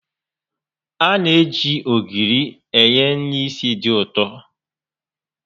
A na-eji ogiri enye nri ísì dị ụtọ